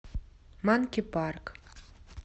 манки парк